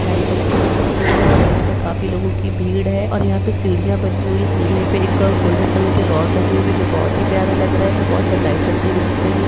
Light जलती हुयी दिख रही है और यहाँ पर काफी लोगो की भीड़ है और यहाँ पे सीढ़िया बनी हुई है सीढ़िया पर एक गोल्डन कलर के रॉड लगे हुए है जो बहुत ही प्यारे लग रहे है बहुत सारी लाइट जलती हुई दिख रही है।